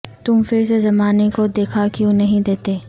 تم پھر سے زمانے کو دکھا کیوں نہیں دیتے